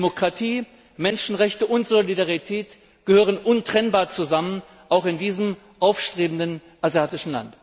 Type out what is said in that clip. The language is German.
Demokratie, Menschenrechte und Solidarität gehören untrennbar zusammen, auch in diesem aufstrebenden asiatischen Land!